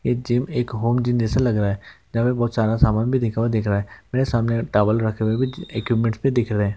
यह जिम एक होम जेसे लग रहा है। जैसे बहुत सारा सामान भी दिख रहा है। मेरे सामने टॉवल रखे हुए भी एक मिनट में दिख रहे है।